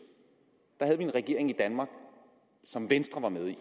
havde vi en regering i danmark som venstre var med i